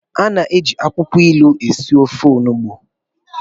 A na-eji akwukwo ilu esi ofe onugbu.